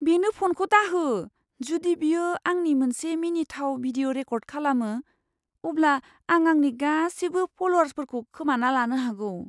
बेनो फनखौ दाहो। जुदि बियो आंनि मोनसे मिनिथाव भिडिअ' रेकर्द खालामो, अब्ला आं आंनि गासिबो फल'वार्सफोरखौ खोमाना लानो हागौ।